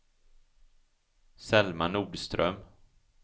Selma Nordström